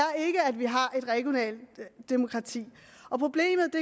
vi har et regionalt demokrati og problemet